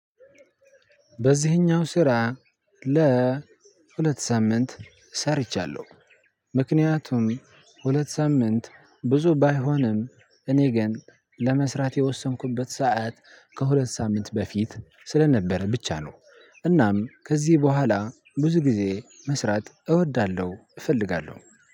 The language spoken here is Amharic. በዚህኛው ስራ ለሁለት ሳምንት ሰርቻለሁ ምክንያቱም ሁለት ሳምንት ብዙ ባይሆንም እኔ ግን ለመስራት የወሰንኩበት ሰዓት ከሁለት ሳምንት በፊት ስለነበረ ብቻ ነው። እናም ከዚህ ብሃላ ብዙ ጊዜ መስራት እወዳለሁ እፈልጋለሁ።